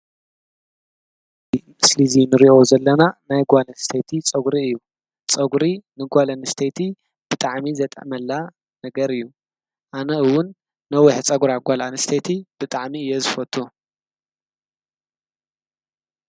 ምስሊዙይ ንርእዮ ዘለና ናይ ጓልን ስተቲ ጸጕሪ እዩ ጸጕሪ ንጓልን ስተቲ ብጥዓሚ ዘጠመላ ነገር እዩ ኣነእውን ነዊሕ ጸጕራ ጓልዓን ስተቲ ብጥዕሚ እየ ዝፈቱ።